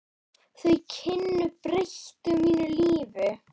Þau kynni breyttu mínu lífi.